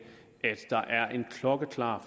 var